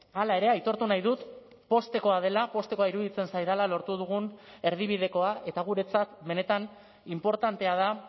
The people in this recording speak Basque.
hala ere aitortu nahi dut poztekoa dela poztekoa iruditzen zaidala lortu dugun erdibidekoa eta guretzat benetan inportantea da